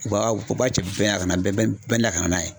U b'a u b'a ci bɛɛ na bɛ na ka na n'a ye.